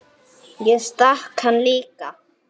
Ég stakk hann líka.